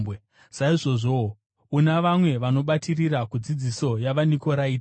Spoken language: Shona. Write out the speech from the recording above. Saizvozvowo, una vamwe vanobatirira kudzidziso yavaNikoraiti.